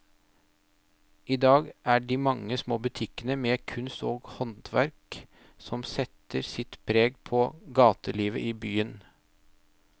I dag er det de mange små butikkene med kunst og håndverk som setter sitt preg på gatelivet i byen.